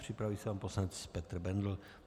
Připraví se pan poslanec Petr Bendl.